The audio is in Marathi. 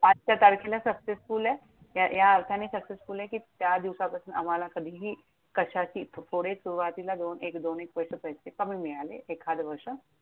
आजच्या तारखेला successful आहेत. या अर्थाने successful आहे कि त्या अर्थाने आम्हाला कधीही कशाची, थोडे सुरुवातीला दोन एक दोन एक वर्ष पैसे कमी मिळाले. एखाद वर्ष.